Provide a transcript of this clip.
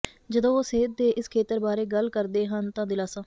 ਜਦੋਂ ਉਹ ਸਿਹਤ ਦੇ ਇਸ ਖੇਤਰ ਬਾਰੇ ਗੱਲ ਕਰਦੇ ਹਨ ਤਾਂ ਦਿਲਾਸਾ